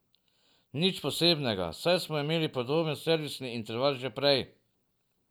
Nič posebnega, saj smo imeli podoben servisni interval že prej.